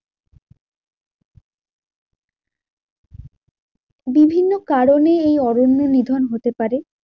বিভিন্ন কারণে এই অরণ্যের নিধন হতে পারে।